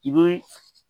I bɛ